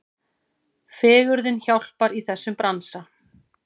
Fegurðin hjálpar í þessum bransa.